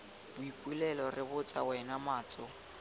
boipelo re botsa wena matso